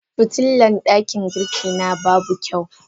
Fitilan dakin girki na babu kyau.